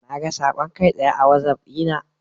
Naga saƙon kai tsaye a wazaf dina.